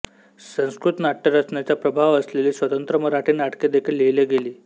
संस्कृत नाट्यरचनेचा प्रभाव असलेली स्वतंत्र मराठी नाटके देखील लिहिली गेली